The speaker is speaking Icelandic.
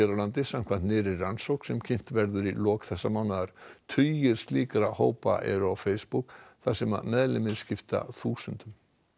á landi samkvæmt nýrri rannsókn sem kynnt verður í lok þessa mánaðar tugir slíkra hópa eru á Facebook þar sem meðlimir skipta þúsundum